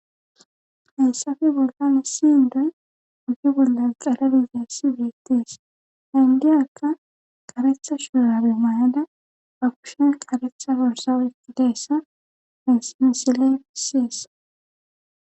hayssafe bollan issindoy uggi bolla qalabiziyassi biettis hindiyakka qaretha shuurabemayada ba kushen qaretha worsawetti deessa pinsinsile fisiyesa